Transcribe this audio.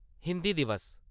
हिंदी दिवस